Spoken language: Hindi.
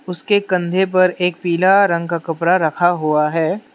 उसके कंधे पर एक पीला रंग का कपड़ा रखा हुआ है।